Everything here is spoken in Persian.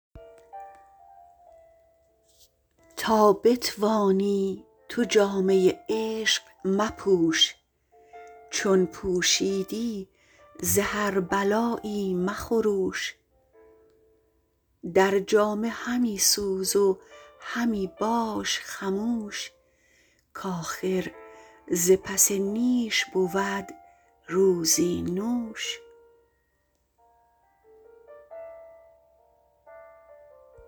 تا بتوانی تو جامه عشق مپوش چون پوشیدی ز هر بلایی مخروش در جامه همی سوز و همی باش خموش کاخر ز پس نیش بود روزی نوش